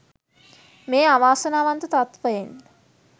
මේ අවාසනාවන්ත තත්ත්වයෙන්